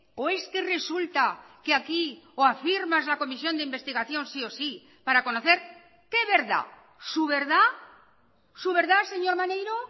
o es que resulta que aquí o afirmas la comisión de investigación sí o sí para conocer qué verdad su verdad su verdad señor maneiro